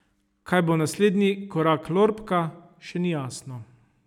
Kaj bo naslednji korak Lorbka še ni jasno.